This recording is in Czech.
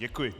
Děkuji.